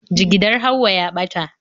Jigidar Hauwa ya ɓata